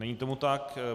Není tomu tak.